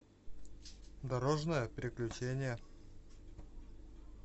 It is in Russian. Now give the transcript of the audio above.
дорожное приключение